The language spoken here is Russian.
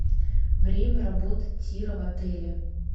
время работы тира в отеле